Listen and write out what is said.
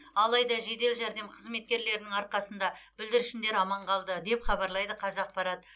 алайда жедел жәрдем қызметкерлерінің арқасында бүлдіршіндер аман қалды деп хабарлайды қазақпарат